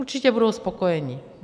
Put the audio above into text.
Určitě budou spokojeni.